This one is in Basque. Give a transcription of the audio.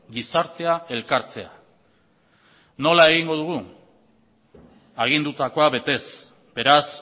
gizartea elkartzea nola egingo dugu agindutakoa betez beraz